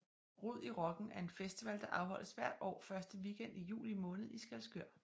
Rod i Rocken er en festival der afholdes hvert år første weekend i juli måned i Skælskør